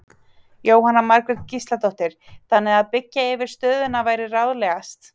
Jóhanna Margrét Gísladóttir: Þannig að byggja yfir stöðina væri ráðlegast?